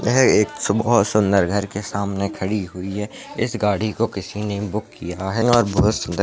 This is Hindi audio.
यह एक बहुत सुंदर घरके सामने खडी हुई है इस गाडीको किसीने बुक किया है और बहुत सुंदर --